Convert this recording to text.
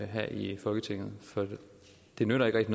her i folketinget det nytter ikke